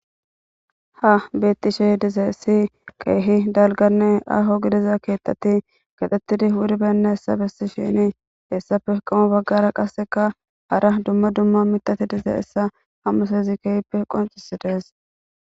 ha bettishe dizayisi keehi dalganne aho gidiza keettati kaxettidi wuribenayissa bessishini hessape qomo baggara qasseka hara dumma dumma mitati dizeyissa hamusezi keehppe qoncisidees